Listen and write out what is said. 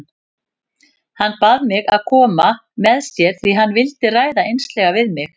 Hann bað mig að koma með sér því hann vildi ræða einslega við mig.